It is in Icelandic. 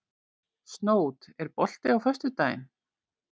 Snót, er bolti á föstudaginn?